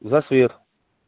за свет